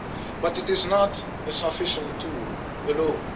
But it is not a sufficient tool alone.